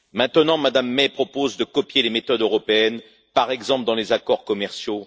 Maintenant, Mme May propose de copier les méthodes européennes, par exemple, dans les accords commerciaux.